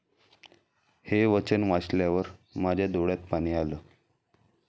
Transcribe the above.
हे वचन वाचल्यावर माझ्या डोळ्यात पाणी आलं.